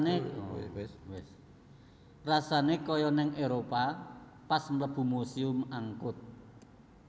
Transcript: Rasane koyo ning Eropa pas mlebu Museum Angkut